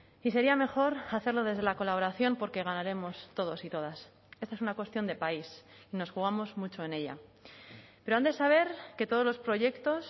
y sería mejor hacerlo desde la colaboración porque ganaremos todos y todas esta es una cuestión de país nos jugamos mucho en ella pero han de saber que todos los proyectos